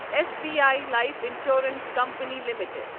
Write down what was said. S B I Life Insurance Company limited